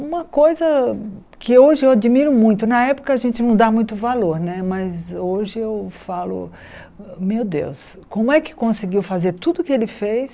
Uma coisa que hoje eu admiro muito, na época a gente não dá muito valor né, mas hoje eu falo, meu Deus, como é que conseguiu fazer tudo o que ele fez?